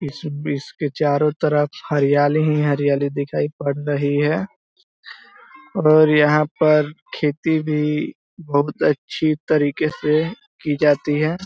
इस बिच के चारो तरफ हरियाली हीं हरियाली दिखाई पड़ रही है और यहाँ पर खेती भी बहुत अच्छी तरीके से की जाती है।